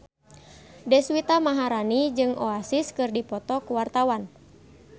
Deswita Maharani jeung Oasis keur dipoto ku wartawan